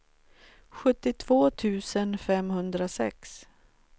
sjuttiotvå tusen femhundrasex